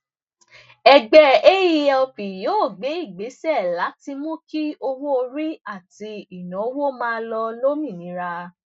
ẹgbẹ aelp yóò gbé ìgbésè láti mú kí owó orí àti ìnáwó máa lọ lómìnira